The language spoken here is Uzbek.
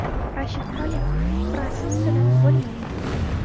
Rashid Xoliqov: Fransuz tilini bilmayman.